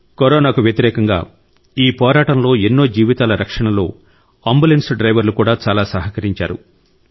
కరోనాకు వ్యతిరేకంగా ఈ పోరాటంలో ఎన్నో జీవితాల రక్షణలో అంబులెన్స్ డ్రైవర్లు కూడా చాలా సహకరించారు